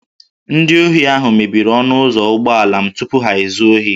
Ndị ohi ahụ mebiri ọnụ ụzọ ụgbọala m tupu ha ezuo ohi